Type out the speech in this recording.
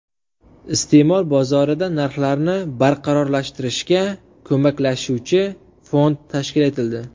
Iste’mol bozorida narxlarni barqarorlashtirishga ko‘maklashuvchi fond tashkil etildi.